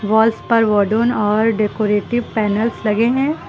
Walls पर और decorative panels लगे हैं।